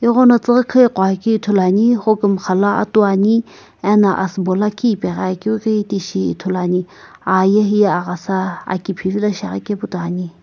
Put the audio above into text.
eghono thiighi khii gho keu ithulu ane homgumgha lo atu ane ano asiibo lakhi akeu ghi tishi ithulu ane ahye heye aghasa aki phivilo shiaghi kae pu toi ane.